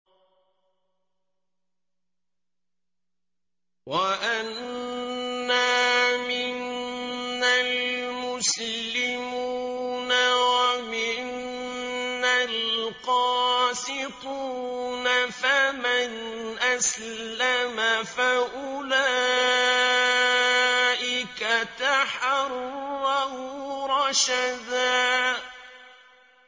وَأَنَّا مِنَّا الْمُسْلِمُونَ وَمِنَّا الْقَاسِطُونَ ۖ فَمَنْ أَسْلَمَ فَأُولَٰئِكَ تَحَرَّوْا رَشَدًا